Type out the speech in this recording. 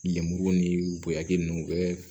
Lemuru ni bonya kɛ ninnu bɛɛ